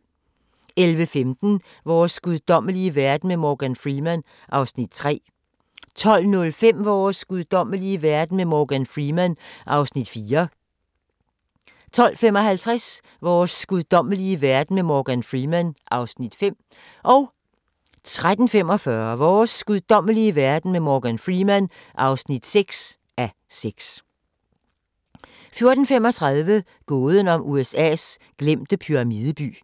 11:15: Vores guddommelige verden med Morgan Freeman (3:6) 12:05: Vores guddommelige verden med Morgan Freeman (4:6) 12:55: Vores guddommelige verden med Morgan Freeman (5:6) 13:45: Vores guddommelige verden med Morgan Freeman (6:6) 14:35: Gåden om USA's glemte pyramideby